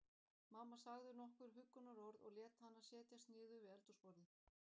Mamma sagði nokkur huggunarorð og lét hana setjast niður við eldhúsborðið.